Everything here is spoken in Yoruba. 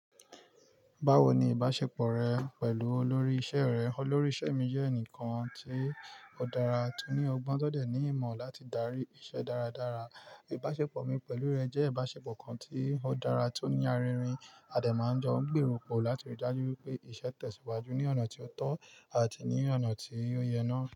Bawo ni ìbáṣepọ̀ rẹ pẹ̀lú olórí iṣẹ́ rẹ? Olórí iṣẹ́ mi jẹ́ ẹnìkan tí ó dára, tó ní ọgbọ́n, tọ́ dẹ̀ ní ìmọ̀ láti darí iṣẹ́ dáradára. Ìbáṣepọ̀ mi pẹ̀lú rẹ̀ jẹ́ ìbáṣepọ̀ kan tí ó dára, tó ní aririn. A dẹ̀ máa ń jọ ń gbèrò pọ̀ láti rí i dájú pé iṣẹ́ tẹ̀síwájú ní ọ̀nà tí ó tọ́ àti ní ọ̀nà tí ó yẹ náà.